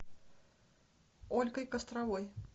ольгой костровой